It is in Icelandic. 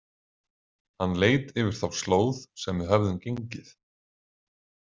Hann leit yfir þá slóð sem við höfðum gengið.